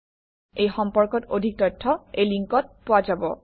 এই সম্পৰ্কত অধিক তথ্য এই লিংকত পোৱা যাব